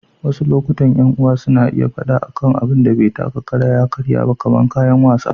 Wasu lokutan, ƴan uwa suna iya faɗa akan abun da bai taka kara ya karya ba, kamar kayan wasa.